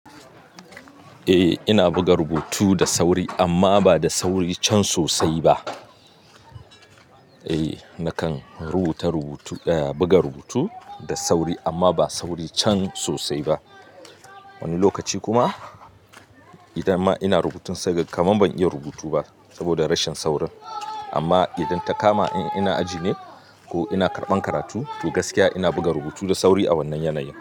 Eh ina buga rubutu da sauri amma ba da sauri can sosai ba. Eh nakan rubuta rubutu, eh buga rubutu da sauri amma ba sauri can sosai ba. Wani lokaci kuma idan ma ina rubutun sai kaga kaman ban iya rubutu ba saboda rashin saurin. Amma idan ta kama in ina aji ne ko ina karɓan karatu to gaskiya ina buga rubutu da sauri a wannan yanayin.